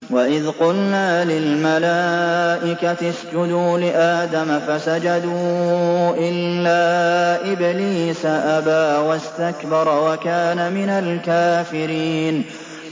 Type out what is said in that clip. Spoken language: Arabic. وَإِذْ قُلْنَا لِلْمَلَائِكَةِ اسْجُدُوا لِآدَمَ فَسَجَدُوا إِلَّا إِبْلِيسَ أَبَىٰ وَاسْتَكْبَرَ وَكَانَ مِنَ الْكَافِرِينَ